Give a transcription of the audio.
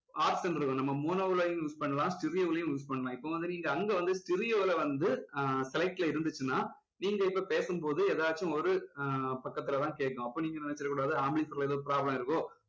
option இருக்கும் நம்ம mono லயும் use பண்ணலாம் stereo லயும் use பண்ணலாம் இப்போ வந்து நீங்க அங்க வந்து stereo ல வந்து ஆஹ் select ல இருந்துச்சுன்னா நீங்க இப்போ பேசும்போது எதாவது ஒரு ஆஹ் பக்கத்துல தான் கேட்கும் அப்போ நீங்க நினைச்சுடக்கூடாது amplifier ல ஏதோ problem இருக்கோ